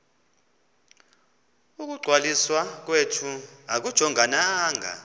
ukungcwaliswa kwethu akujongananga